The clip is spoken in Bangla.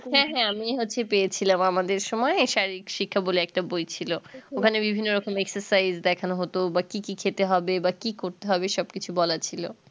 হ্যাঁ হ্যাঁ মেয়ে হচ্ছি পেয়েছিলাম আমাদের সময় এই শারীরিক শিক্ষা বলে একটা বই ছিলো ওখানে বিভিন্ন রকম exercise দেখানো হতো বা কি কি খেতে হবে বা কি করতে হবে সব কিছু বলা ছিলো